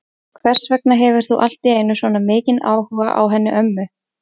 Hvers vegna hefur þú allt í einu svona mikinn áhuga á henni ömmu?